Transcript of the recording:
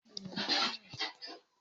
Jájà ni kí o ti lọ tọ́jú araàrẹ lọ́la